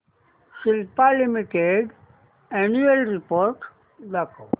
Cipla limited annual report दाखव